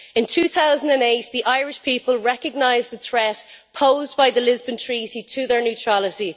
In 2008, the Irish people recognised the threat posed by the Lisbon Treaty to their neutrality.